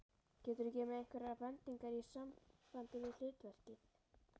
Geturðu gefið mér einhverjar bendingar í sambandi við hlutverkið?